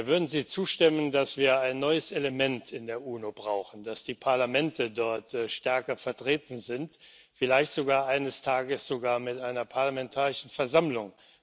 Würden Sie zustimmen, dass wir ein neues Element in der UNO brauchen, dass die Parlamente dort stärker vertreten sind, vielleicht eines Tages sogar mit einer parlamentarischen Versammlung?